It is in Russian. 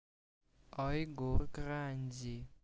а егор гранди